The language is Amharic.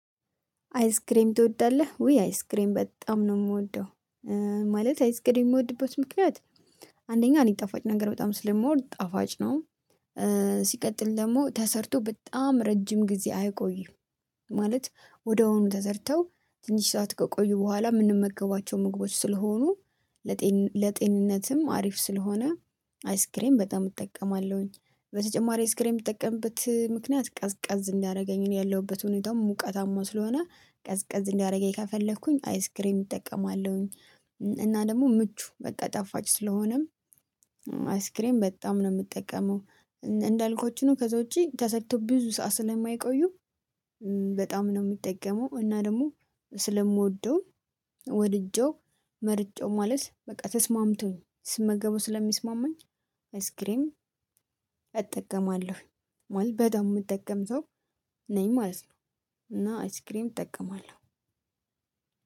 አይስክሬም ትወዳለህ ውይ አይስክሬም በጣም ነው የምወደው። ማለት አይስክሬም የምወድበት ምክንያት አንደኛ እኔ ጣፋጭ ነገር በጣም ስለሞር ጣፋጭ ነው። ሲቀጥል ደግሞ ተሰርቶ በጣም ረጅም ጊዜ አይቆይም ማለት ወደውኑ ተሰርተው ትንሽ ሰዓት ከቆዩ በኋላ የምንመገባቸው ምግቦች ስለሆኑ። ለጤንነትም አሪፍ ስለሆነ አይስክሬም በጣም እጠቀማለሁኝ። በተጨማሪ ስክሪን የምጠቀምበት ምክንያት ቀዝቀዝ እንዲያደረገኝ ያለሁበት ሁኔታው ሙቀታማው ስለሆነ ቀዝቀዝ እንዲያደርገኝ ከፈለኩኝ አይስክሬም እጠቀማለሁኝ። እና ደግሞ ምቹ በቃ ጣፋጭ ስለሆነም አይስክሬም በጣም ነው የምጠቀመው። እንዳልኩት ከዛ ውጪ ተሰርቶ ብዙ ሰዓት ስለማይቆዩ። በጣም ነው የሚጠቀመው እና ደግሞ ስለምወደው ወድጄው መርጬው ማለት በቃ ተስማምቶኝ ስመገቡ ስለሚስማማኝ አይስክሬም እጠቀማለሁ። ማለት በደንብ የምጠቀም ሰው ነኝ ማለት ነው። እና አይስክሬም እጠቀማለሁ።